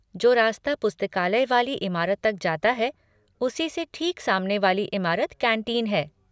जो रास्ता पुस्तकालय वाली इमारत तक जाता है उसी से ठीक सामने वाली इमारत कैंटीन है।